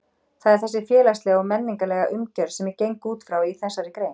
Það er þessi félagslega og menningarlega umgjörð sem ég geng út frá í þessari grein.